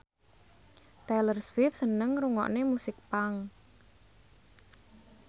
Taylor Swift seneng ngrungokne musik punk